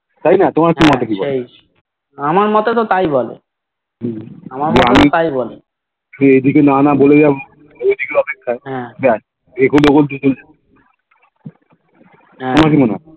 তাইনা তোমার মতে কি মনটা কি বলে যে আমি এদিকে না না বলে জানি ঐদিকে অপেক্ষায় বেস